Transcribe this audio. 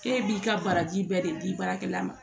K'e b'i ka baraji bɛɛ de di baarakɛla ma